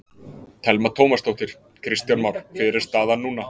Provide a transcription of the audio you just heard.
Telma Tómasdóttir: Kristján Már hver er staðan núna?